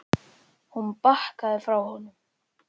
Hún bakkaði frá honum.